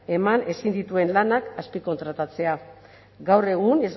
eman ezin dituen lanak azpikontratatzea gaur egun